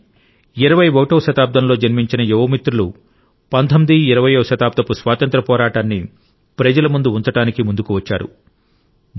కాని 21 వ శతాబ్దంలో జన్మించిన యువ మిత్రులు 19 20 వ శతాబ్దపు స్వాతంత్ర్య పోరాటాన్ని ప్రజల ముందు ఉంచడానికి ముందుకు వచ్చారు